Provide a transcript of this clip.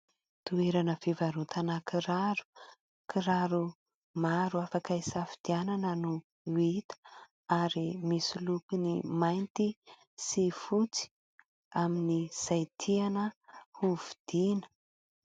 Toerana fivarotana kiraro. Kiraro maro afaka isafidianana no hita ary misy loko mainty sy fotsy amin'ny izay tiana hovidiana.